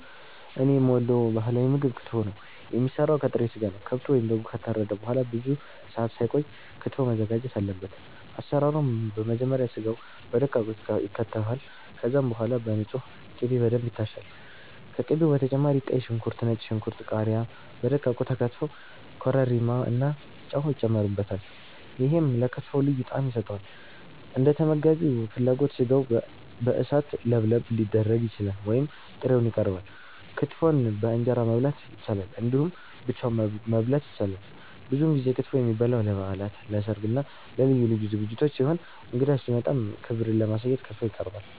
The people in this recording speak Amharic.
እኔ የምወደው ባህላዊ ምግብ ክትፎ ነው። የሚሰራው ከጥሬ ስጋ ነው። ከብቱ ወይም በጉ ከታረደ በኋላ ብዙ ሰአት ሳይቆይ ክትፎው መዘጋጀት አለበት። አሰራሩም በመጀመሪያ ስጋው በደቃቁ ይከተፋል። ከዛም በኋላ በንጹህ ቅቤ በደንብ ይታሻል። ከቅቤው በተጨማሪ ቀይ ሽንኩርት፣ ነጭ ሽንኩርት፣ ቃሪያ በደቃቁ ተከትፈው ኮረሪማ እና ጨው ይጨመርበታል። ይሄም ለክትፎው ልዩ ጣዕም ይሰጠዋል። እንደተመጋቢው ፍላጎት ስጋው በእሳት ለብለብ ሊደረግ ይችላል ወይም ጥሬውን ይቀርባል። ክትፎን በእንጀራ መብላት ይቻላል እንዲሁም ብቻውን መበላት ይችላል። ብዙውን ጊዜ ክትፎ የሚበላው ለበዓላት፣ ለሰርግ እና ለልዩ ልዩ ዝግጅቶች ሲሆን እንግዳ ሲመጣም ክብርን ለማሳየት ክትፎ ይቀርባል።